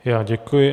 Já děkuji.